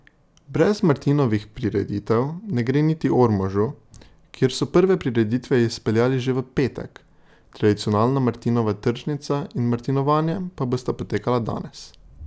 Brez martinovih prireditev ne gre niti v Ormožu, kjer so prve prireditve izpeljali že v petek, tradicionalna martinova tržnica in martinovanje pa bosta potekala danes.